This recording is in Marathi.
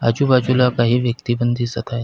आजूबाजूला काही व्यक्ति पण दिसत आहेत.